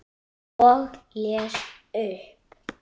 Og les upp.